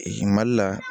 mali la